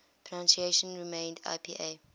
pronunciation remained ipa